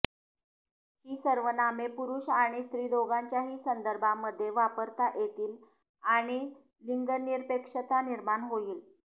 ही सर्वनामे पुरुष आणि स्त्री दोघांच्याहि संदर्भामध्ये वापरता येतील आणि लिंगनिरपेक्षता निर्माण होईल